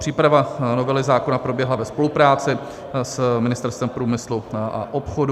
Příprava novely zákona proběhla ve spolupráci s Ministerstvem průmyslu a obchodu.